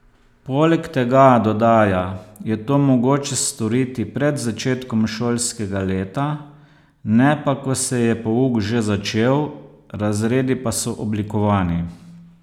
Poleg tega, dodaja, je to mogoče storiti pred začetkom šolskega leta, ne pa ko se je pouk že začel, razredi pa so oblikovani.